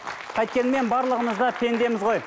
қайткенмен барлығымыз да пендеміз ғой